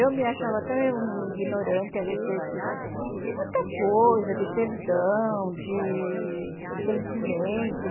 Eu me achava tão ignorante a respeito de muita coisa, de perdão, de entendimento.